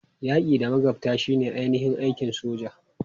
Yaki da magabta shine ainihin aikin soja.